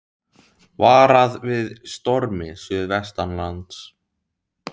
Varað við stormi suðvestanlands